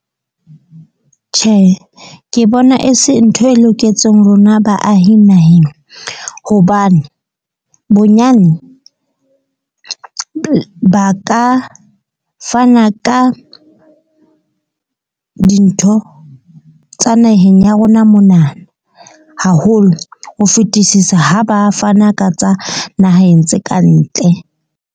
Tjhe, ke bona e se ntho e loketseng rona baahi naheng. Hobane bonyane ba ka fana ka dintho tsa naheng ya rona monana. Haholo ho fetisisa ha ba fana ka tsa naheng tse kantle.